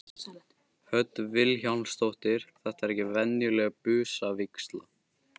Hödd Vilhjálmsdóttir: Þetta er ekki venjuleg busavígsla?